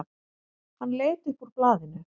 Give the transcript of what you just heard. Hann leit upp úr blaðinu.